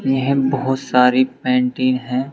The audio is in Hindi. यह बहुत सारी पेंटिंग हैं।